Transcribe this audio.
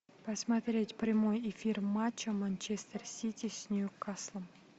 посмотреть прямой эфир матча манчестер сити с ньюкаслом